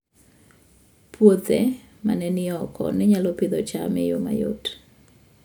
Puothe ma ne ni oko ne nyalo Pidhoo cham e yo mayot